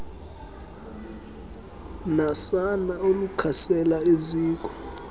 nasana olukhasela eziko